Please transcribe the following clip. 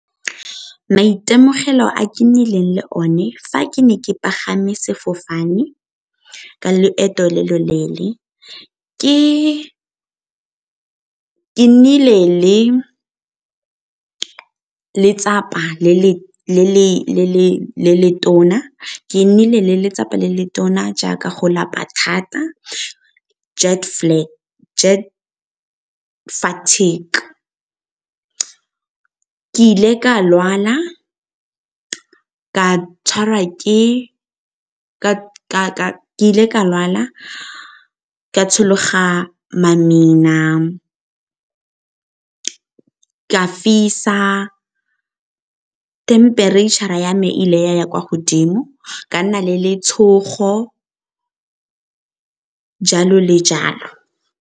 Maitemogelo a ke nnileng le one fa ke ne ke pagame sefofane ke loeto le le leele ke nnile le letsapa le le tona jaaka go lapa thata jet fatigue. Ke ile ka lwala, ka tshologa mamina, ka fisa temperature-ra ya me e ile ya ya kwa godimo, ka nna le letshogo, jalo le jalo.